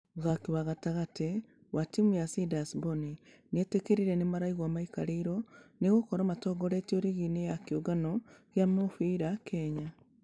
Mũthaki wa gatagatĩ wa timũ ya ciders bonny nĩetekĩrire nĩmaraigua maikarĩirwo nĩ gũkorwo matongoretie rigi-inĩ ya kĩũngano gĩa mũbira kenya .